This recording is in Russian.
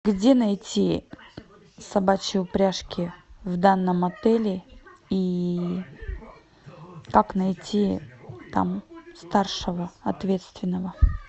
где найти собачьи упряжки в данном отеле и как найти там старшего ответственного